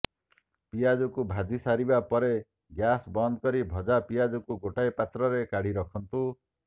ପିଆଜକୁ ଭାଜି ସାରିବା ପରେ ଗ୍ୟାସ୍ ବନ୍ଦ କରି ଭଜା ପିଆଜକୁ ଗୋଟିଏ ପାତ୍ରରେ କାଢି ରଖନ୍ତୁ